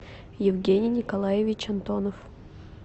евгений николаевич антонов